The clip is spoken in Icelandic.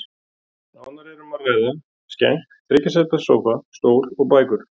Nánar er um að ræða skenk, þriggja sæta sófa, stól og bækur.